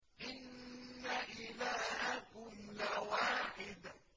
إِنَّ إِلَٰهَكُمْ لَوَاحِدٌ